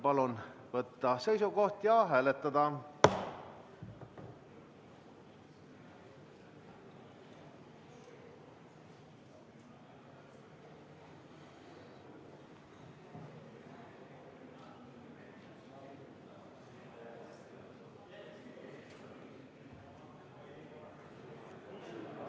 Palun võtta seisukoht ja hääletada!